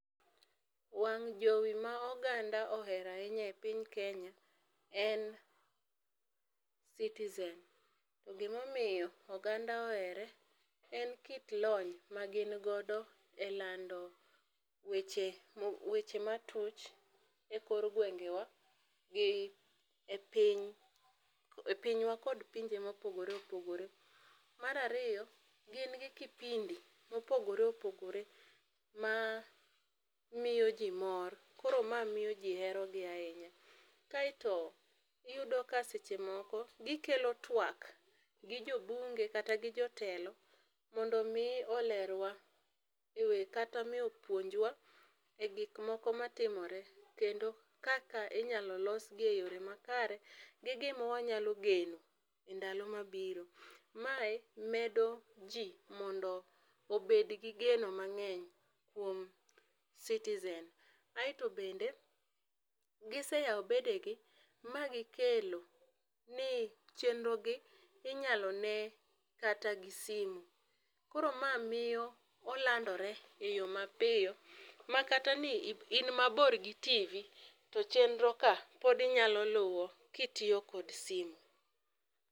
Wang' jowi ma oganda ohero ahinya e piny kenya en citizen. Gi ma omiyo oganda ohere en kit lony ma gin godo e lando weche weche ma tut e kor gwengewa gi e piny,e pinywa kod pinje ma opogore opogore. Mar ariyo gin gi kipindi ma opogore opogore ma miyo ji mor koro ma miyo ji hero gi ahinya. Kaito iyudo ka seche moko gi kelo twak gi jo bunge kata gi jotendwa mondo mi olerwa kata ni opuonjwa e gik moko ma timore. Kendo kaka inyalo los gi e yo ma kare gi gi ma wa nyalo kelo geno e ndalo ma biro. Mae medo ji mondo obed gi geno mang'eny kuom citizen. aito bende gi seyao bede gi ma gi kelo ni chnero gi inyalo nee kata gi simo. Koro ma miyo olandore e yo ma piyo ma kata ni in ma bor gi tivi to chenro ka pod inya luwo ki itiyo kod simo.